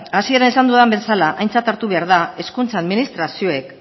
hasieran esan dudan bezala aintzat hartu behar da hezkuntza administrazioek